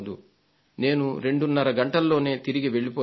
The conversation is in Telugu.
నేను రెండున్నర గంటల్లోనే తిరిగి వెళ్లిపోయాను